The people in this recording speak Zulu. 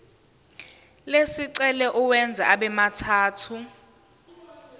lesicelo uwenze abemathathu